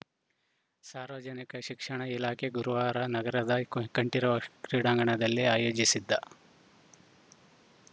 ಸಾರ್ವಜನಿಕ ಶಿಕ್ಷಣ ಇಲಾಖೆ ಗುರುವಾರ ನಗರದ ಕೋನ್ ಕಂಠೀರವ ಕ್ರೀಡಾಂಗಣದಲ್ಲಿ ಆಯೋಜಿಸಿದ್ದ